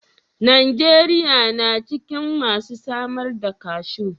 Najeriya na cikin masu samar da cashew.